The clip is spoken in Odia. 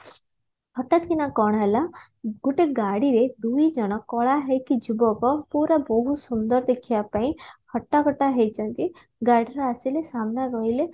ହଠାତକିନା କଣ ହେଲା ଗୋଟେ ଗାଡିରେ ଦୁଇଜଣ କଳା ହେଇକି ଯୁବକ ପୁରା ବହୁତ ସୁନ୍ଦର ଦେଖିବା ପାଇଁ ହଟ୍ଟାକଟ୍ଟା ହେଇଛନ୍ତି ଗାଡିର ଆସିଲେ ସାମ୍ନାର ରହିଲେ